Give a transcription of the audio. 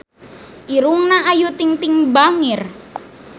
Irungna Ayu Ting-ting bangir